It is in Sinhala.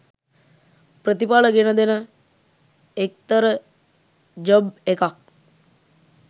ප්‍රතිපල ගෙන දෙන එක්තර ජොබ් එකක්.